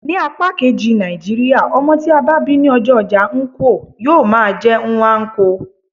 Ní apá kejì Nàìjíríà, ọmọ tí a bá bí ní ọjọ́ ojá nkwo, yíó máà jé Nnwanko.